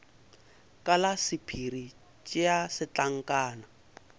ka la sephiri tšea setlankana